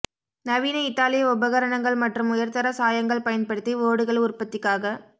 நவீன இத்தாலிய உபகரணங்கள் மற்றும் உயர்தர சாயங்கள் பயன்படுத்தி ஓடுகள் உற்பத்திக்காக